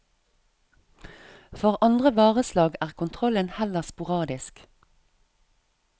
For andre vareslag er kontrollen heller sporadisk.